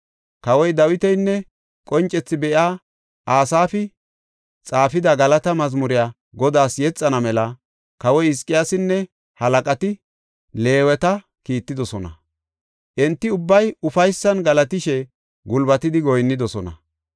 Kawoy Dawitinne qoncethi be7iya Asaafi xaafida galataa mazmure Godaas yexana mela kawoy Hizqiyaasinne halaqati Leeweta kiittidosona; Enti ubbay ufaysan galatishe gulbatidi goyinnidosona.